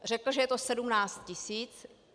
Řekl, že je to 17 tisíc.